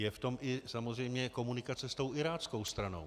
Je v tom i samozřejmě komunikace s tou iráckou stranou.